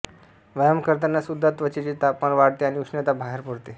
व्यायाम करताना सुद्धा त्वचेचे तापमान वाढते आणि उष्णता बाहेर पडते